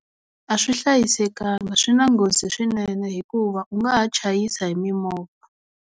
A swi hlayisekanga swi na nghozi swinene hikuva u nga ha chayisa hi mimovha.